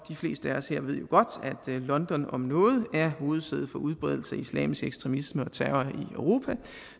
fleste af os her ved jo godt at london om nogen er hovedsæde for udbredelse af islamisk ekstremisme og terror i europa